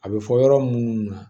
A bɛ fɔ yɔrɔ munnu na